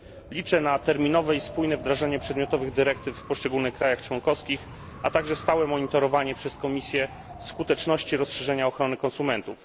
Liczę na terminowe i spójne wdrażanie przedmiotowych dyrektyw w poszczególnych krajach członkowskich, a także na stałe monitorowanie przez Komisję skuteczności rozszerzenia ochrony konsumentów.